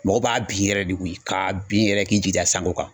Mɔgɔ b'a bin yɛrɛ de koyi k'a bin yɛrɛ k'i jigi da sanko kan